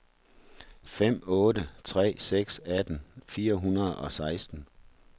fem otte tre seks atten fire hundrede og seksten